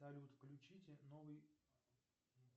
салют включите новый